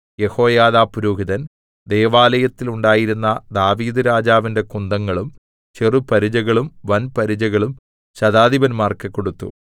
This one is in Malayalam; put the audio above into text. യെഹോയാദാ പുരോഹിതൻ ദൈവാലയത്തിൽ ഉണ്ടായിരുന്ന ദാവീദ്‌ രാജാവിന്റെ കുന്തങ്ങളും ചെറുപരിചകളും വൻ പരിചകളും ശതാധിപന്മാർക്ക് കൊടുത്തു